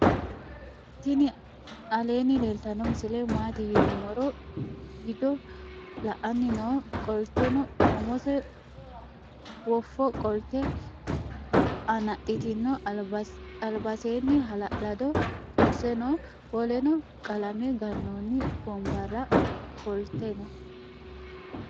tinni aleni leltano misile maati yinumoro widiyo la"anni noo. qoltenoumose wofo qolte anaxitino albaseni hala'lado kuurse noo. woleno qalame ganoni wonbarera ofoltei noo.